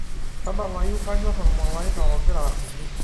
tadalayu kaanyor ormalaika ogira asuju